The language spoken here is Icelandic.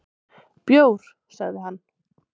"""Bjór, sagði hann."""